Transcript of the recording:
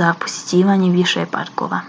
za posjećivanje više parkova